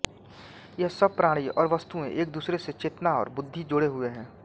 यहाँ सब प्राणी और वस्तुएँ एक दुसरे से चेतना और बुद्धि जोड़े हुए हैं